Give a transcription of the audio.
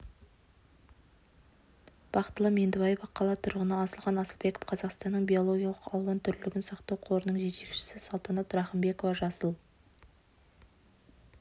бақтылы меңдібаева қала тұрғыны асылхан асылбеков қазақстанның биологиялық алуан түрлілігін сақтау қорының жетекшісі салтанат рахымбекова жасыл